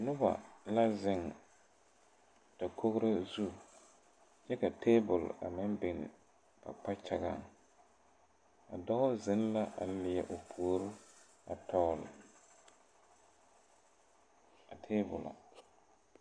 Noba la ziŋ dakogro zu kyɛ ka tabol a meŋ biŋ na kpakyagaŋ a dɔɔ ziŋ la a leɛ o puori a dɔgle a taabolɔ.